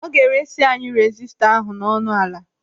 Ọ ga-eresi anyị rezistọ ahụ n'ọnụ ala.